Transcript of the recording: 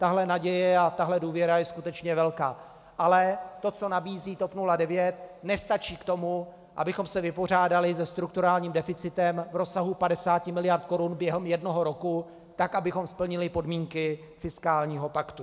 Tahle naděje a tahle důvěra je skutečně velká, ale to, co nabízí TOP 09, nestačí k tomu, abychom se vypořádali se strukturálním deficitem v rozsahu 50 mld. korun během jednoho roku, tak, abychom splnili podmínky fiskálního paktu.